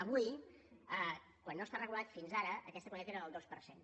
avui quan no està regulat fins ara aquesta quantitat era del dos per cent